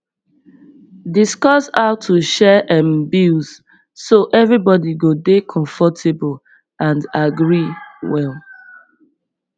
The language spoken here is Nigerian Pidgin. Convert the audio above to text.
discuss how to share um bills so everybody go dey comfortable and agree well